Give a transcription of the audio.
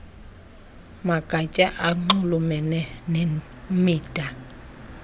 magatya anxulumene nemida